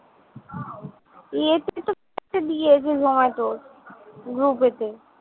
zomato র group এ তে।